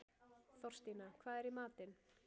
Þorstína, hvað er í matinn?